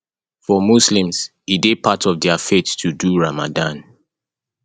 for muslims e dey part of their faith to do ramadan